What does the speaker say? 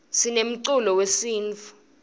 sinemculo wesintfu